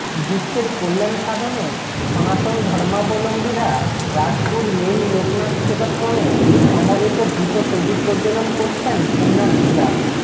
বিশ্বের কল্যাণ সাধনে সনাতন ধর্মাবলম্বীরা রাজাপুর লেইন লোকনাথ সেবাশ্রমে সমবেত ঘৃত প্রদীপ প্রজ্জ্বলন করছেন পুণ্যার্থীরা